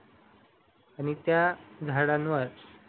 आणि त्या झाडांवर